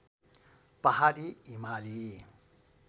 पहाडी हिमाली